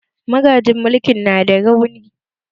Magajin mulkin na da rauni